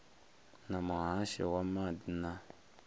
na muhasho wa maḓi na